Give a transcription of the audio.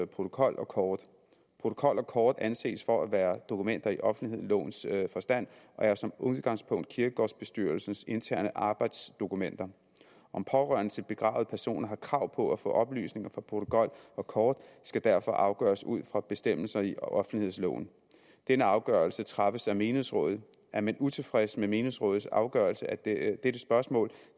protokol og kort protokol og kort anses for at være dokumenter i offentlighedslovens forstand og er som udgangspunkt kirkegårdsbestyrelsens interne arbejdsdokumenter om pårørende til begravede personer har krav på at få oplysninger fra protokol og kort skal derfor afgøres ud fra bestemmelser i offentlighedsloven denne afgørelse træffes af menighedsrådet er man utilfreds med menighedsrådets afgørelse af dette dette spørgsmål